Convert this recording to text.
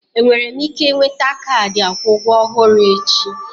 Enwere m ike nweta kaadị akwụ ụgwọ ọhụrụ echi?